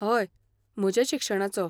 हय, म्हज्या शिक्षणाचो.